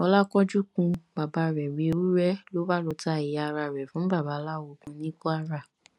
ọlákánjú kun bàbá rẹ̀ bíi ewúrẹ́ ló bá lọ ta ẹ̀yà ara rẹ̀ fún babaláwo kan ní kwara